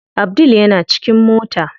Abdul yana cikin mota.